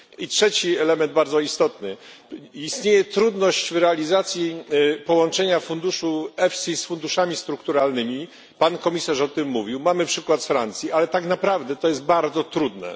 I trzeci bardzo ważny element istnieje trudność w realizacji połączenia EFIS z funduszami strukturalnymi Pan Komisarz o tym mówił, mamy przykład z Francji ale tak naprawdę to jest bardzo trudne.